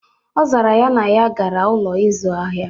Ọ zara ya, na ya gara n'Ụlọ ịzụ ahịa